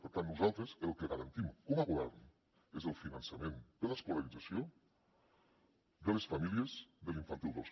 per tant nosaltres el que garantim com a govern és el finançament de l’escolarització de les famílies de l’infantil dos